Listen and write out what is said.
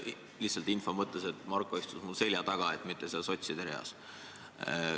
Lihtsalt info mõttes: Marko istus minu selja taga, mitte seal sotside reas.